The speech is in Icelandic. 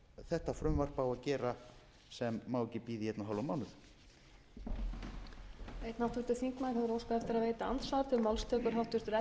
þetta frumvarp á að gera sem má ekki bíða í einn og hálfan mánuð